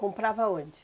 Comprava onde?